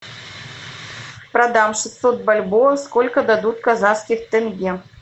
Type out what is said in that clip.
продам шестьсот бальбоа сколько дадут казахских тенге